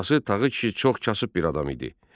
Atası Tağı kişi çox kasıb bir adam idi.